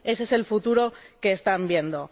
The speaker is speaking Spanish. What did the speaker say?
Ese es el futuro que están viendo.